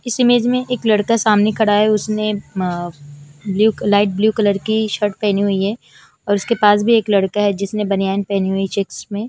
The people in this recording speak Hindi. इस इमेज में एक लड़का सामने खड़ा है उसने म ब्लू लाइट ब्लू कलर की शर्ट पहनी हुई है उसके पास भी एक लड़का है उसने बनयान पहनी हुई है चेक्स में--